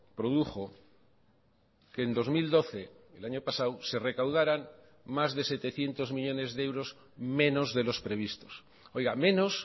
produjo que en dos mil doce el año pasado se recaudaran más de setecientos millónes de euros menos de los previstos menos